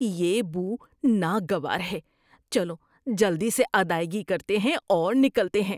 یہ بو ناگوار ہے۔ چلو جلدی سے ادائیگی کرتے ہیں اور نکلتے ہیں۔